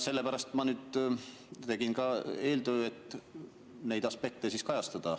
Sellepärast ma nüüd tegin ka eeltöö, et neid aspekte kajastada.